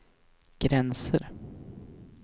gränser